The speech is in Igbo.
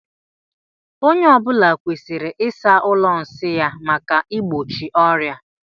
Onye ọ bụla kwesịrị ịsa ụlọ nsi ya maka igbochi ọria.